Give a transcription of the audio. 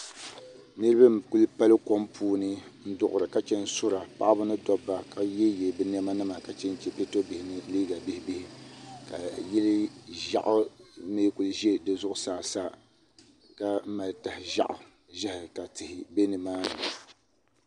Niriba n-kuli pali kom puuni n-duɣira ka Chen sura paɣiba ni dɔbba ka yeeyeei bɛ nɛmanima ka chenche piɛto bihi mini liiga bihibihi ka yili ʒɛɣu me n-kuli za di zuɣusaa sa ka mali tah' ʒɛɣu ka tihi be ni maani